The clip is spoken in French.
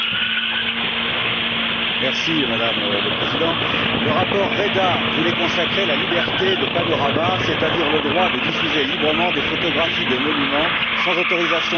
Madame la Présidente, le rapport Reda voulait consacrer la liberté de panorama, c'est à dire le droit de diffuser librement des photographies de monuments sans l'autorisation des architectes concernés et sans droit d'auteur.